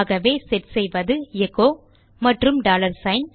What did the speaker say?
ஆகவே செட் செய்வது எச்சோ மற்றும் டாலர் சிக்ன்